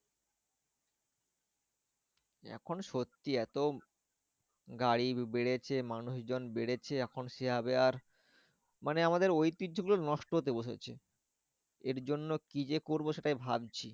এখন সত্যি এতো গাড়ি বেড়েছে মানুষজন বেড়েছে এখন সেভাবে আর মানে আমাদের ঐতিহ্য গুলো নষ্ট হতে বসেছে। এর জন্য কি যে করবো সেটাই ভাবছি।